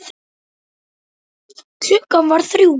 Klukkan varð þrjú.